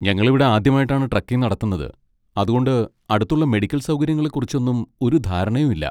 ഞങ്ങളിവിടെ ആദ്യമായിട്ടാണ് ട്രെക്കിങ്ങ് നടത്തുന്നത്, അതുകൊണ്ട് അടുത്തുള്ള മെഡിക്കൽ സൗകര്യങ്ങളെ കുറിച്ചൊന്നും ഒരു ധാരണയും ഇല്ല.